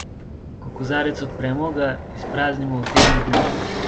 Ko kozarec odpremo, ga izpraznimo v tednu dni.